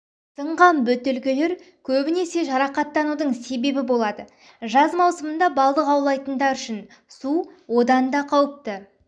сынған бөтелкелер көбінесе жарақаттанудың себебі болады жаз маусымында балық аулайтындар үшін су одан ла қауіпті